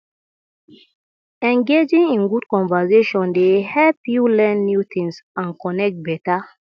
engaging in good conversation dey help you learn new things and connect better